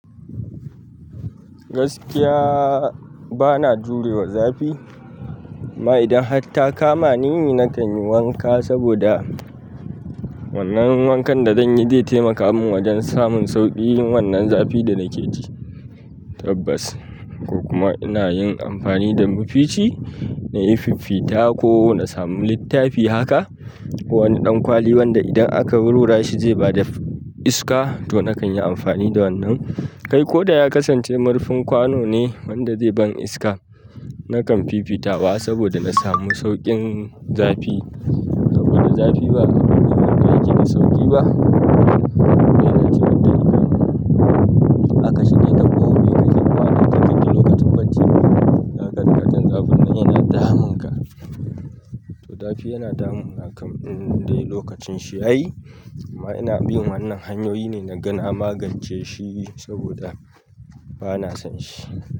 Gaskiya ba na jure wa zafi amma idan har ta kama ni na kanyi wanka saboda wannan wankan da zanyi zai taimaka mun wajen samun sauƙi wannan zafin da nake ji. Tabbas ko kuma ina yin amfani da mafici na yi fiffita ko na samu littafi haka wani ɗan kwali wanda idan aka rura shi zai bada iska to na kan yi amfani da wannan. Kai ko da ya kasance marfin kwano ne wanda zai ban iska. Nakan fifita wa saboda na samu sauƙin zafi. Saboda zafi ba a duniya ba yake yi sauƙi ba. Yana cire talikan. Haka shike ta kowani lokaci, lokacin bacci yazo yana damun ka to zafi yana damuna kam in dai lokacin shi yayi amma ina bin wannan hanyoyi ne na ga na magance shi saboda bana son shi.